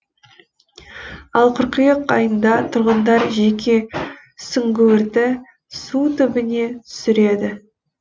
ал қыркүйек айында тұрғындар жеке сүңгуірді су түбіне түсіреді